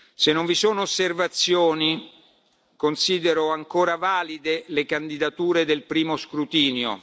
scrutinio. Se non vi sono osservazioni considero ancora valide le candidature del